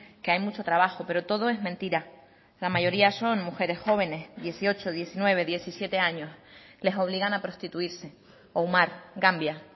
que hay mucho trabajo pero todo es mentira la mayoría son mujeres jóvenes dieciocho diecinueve diecisiete años les obligan a prostituirse oumar gambia